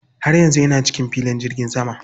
Har yanzu ina cikin filin jirgin sama.